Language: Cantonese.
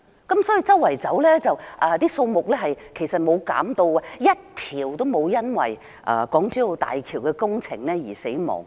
他說它們周圍游動，數目沒有減少 ，1 條也沒有因為港珠澳大橋工程而死亡。